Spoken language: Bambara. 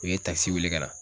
U ye takisi wele ka na.